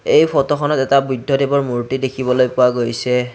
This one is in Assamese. এই ফটোখনত এটা বৌদ্ধ দেৱৰ মূৰ্ত্তি দেখিবলৈ পোৱা গৈছে।